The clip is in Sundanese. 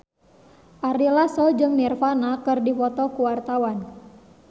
Ari Lasso jeung Nirvana keur dipoto ku wartawan